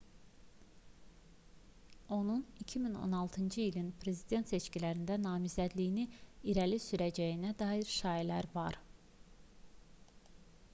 onun 2016-cı ilin prezident seçkilərində namizədliyini irəli sürəcəyinə dair şayiələr var